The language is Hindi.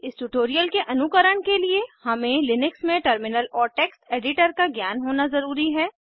इस ट्यूटोरियल के अनुकरण के लिए हमें लिनक्स में टर्मिनल और टेक्स्ट एडिटर का ज्ञान होना ज़रूरी है